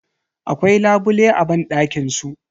Akwai labule a banɗakin su.